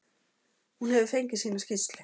Hún hefur fengið sína skýrslu.